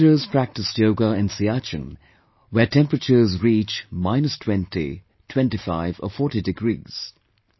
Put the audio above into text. Our soldiers practiced yoga in Siachen where temperatures reach minus 20, 25, 40 degrees